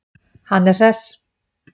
Hann er hress.